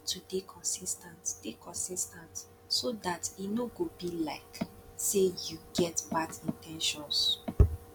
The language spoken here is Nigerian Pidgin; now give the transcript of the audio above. you need to dey consis ten t dey consis ten t so dat e no go be like sey you get bad in ten tions